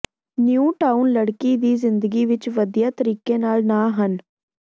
new town ਲੜਕੀ ਦੀ ਜ਼ਿੰਦਗੀ ਵਿੱਚ ਵਧੀਆ ਤਰੀਕੇ ਨਾਲ ਨਾ ਹਨ